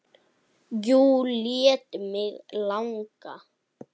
Jú, lét mig langa.